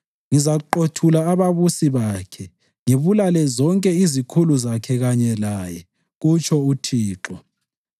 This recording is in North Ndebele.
Ngizaqothula ababusi bakhe ngibulale zonke izikhulu zakhe kanye laye,” kutsho uThixo.